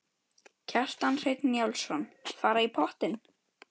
Kjartan Hreinn Njálsson: Fara í pottinn?